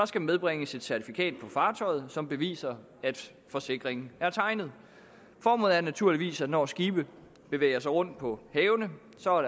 skal medbringes et certifikat på fartøjet som beviser at forsikringen er tegnet formålet er naturligvis at der når skibe bevæger sig rundt på havene